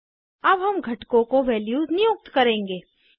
अब हम घटकों को वैल्यूज़ नियुक्त करेंगे